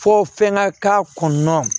Fɔ fɛn ŋa k'a kɔnɔna